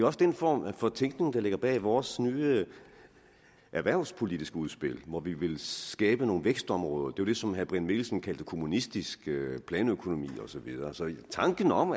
også den form for tænkning der ligger bag vores nye erhvervspolitiske udspil hvor vi vil skabe nogle vækstområder det som herre brian mikkelsen kaldte kommunistisk planøkonomi og så videre så tanken om